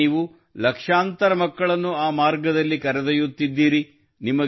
ಇಂದು ನೀವು ಲಕ್ಷಾಂತರ ಮಕ್ಕಳನ್ನು ಆ ಮಾರ್ಗದಲ್ಲಿ ಕರೆದೊಯ್ಯುತ್ತಿದ್ದೀರಿ